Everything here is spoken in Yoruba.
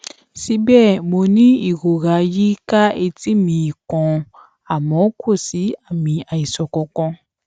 síbè mo ní ìrora yí i ká etí mi kan àmó kò sí àmì àìsàn kankan